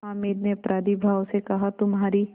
हामिद ने अपराधीभाव से कहातुम्हारी